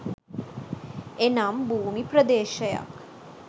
එනම් භූමි ප්‍රදේශයක්